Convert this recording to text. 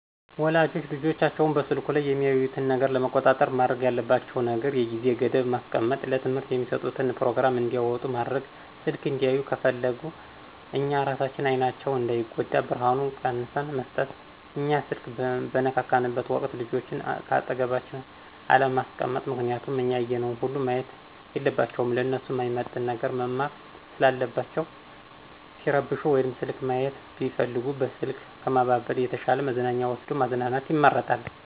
ወላጆች ልጆቻቸው በስልኩ ላይ የሚያዩትን ነገር ለመቆጣጠር ማድረግ ያለባቸው ነገር የጊዜ ገደብ ማስቀመጥ፣ ለትምህርት የሚስጡትን ፕሮግራም እንዲያወጡ ማድረግ፣ ስልክ እንዲያዩ ከፍለግነ እኛ እራሳችን አይናቸው እንዳይጎዳ ብርሀኑን ቀንስን መስጠት፣ እኛ ስልክ በንነካካበት ወቅት ልጆችን ከአጠገባችን አለማስቀመጥ ምክንያቱም እኛ ያየነውን ሁሉ ማየት የለባቸውም ለነሱ ማይመጥን ነገር መማር ሰለለባቸው፣ ሲረብሹ ወይም ስልክ ማይት ቢፈልጉ በስልክ ከማባበል የተሻ መዝናኛ ወስዶ ማዝናናት ይመረጣል።